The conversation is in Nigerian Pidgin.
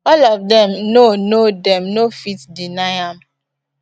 all of dem know know dem no fit deny am